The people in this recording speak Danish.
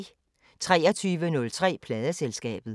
23:03: Pladeselskabet